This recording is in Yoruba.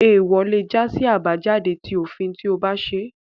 Eewọ lé já sí àbájáde ti òfin tí o ba ṣẹ